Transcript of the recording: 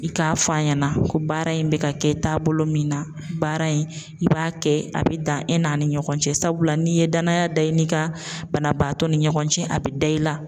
I k'a fɔ a ɲɛna ko baara in bɛ ka kɛ taabolo min na baara in i b'a kɛ a bɛ dan e n'a ni ɲɔgɔn cɛ sabula n'i ye danaya da i n'i kan banabaatɔ ni ɲɔgɔn cɛ a bɛ da i la.